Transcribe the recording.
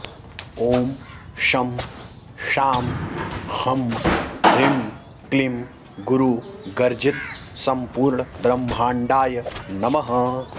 ॐ शं शां षं ह्रीं क्लीं गुरुगर्जितसम्पूर्णब्रह्माण्डाय नमः